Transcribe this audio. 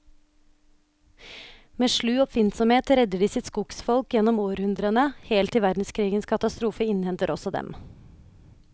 Med slu oppfinnsomhet redder de sitt skogsfolk gjennom århundrene, helt til verdenskrigens katastrofe innhenter også dem.